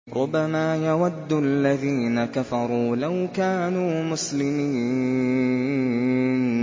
رُّبَمَا يَوَدُّ الَّذِينَ كَفَرُوا لَوْ كَانُوا مُسْلِمِينَ